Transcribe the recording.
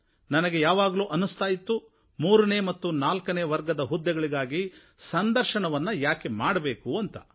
ನನಗೆ ಯಾವಾಗಲೂ ಅನ್ನಿಸ್ತಾ ಇತ್ತು ಮೂರನೇ ಮತ್ತು ನಾಲ್ಕನೇ ವರ್ಗದ ಹುದ್ದೆಗಳಿಗಾಗಿ ಸಂದರ್ಶನವನ್ನು ಏಕೆ ಮಾಡಬೇಕು ಅಂತ